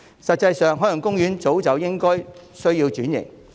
實際上，海洋公園一早便需要轉型。